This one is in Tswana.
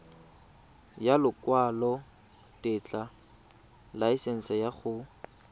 ya lekwalotetla laesense ya go